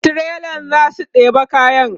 trailan zasu ɗeba kayan